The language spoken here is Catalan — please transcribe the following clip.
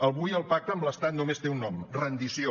avui el pacte amb l’estat només té un nom rendició